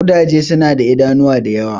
Ƙudaje suna da idanuwa da yawa.